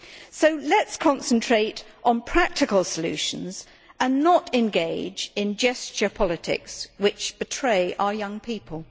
So let us concentrate on practical solutions and not engage in gesture politics which betray our young people.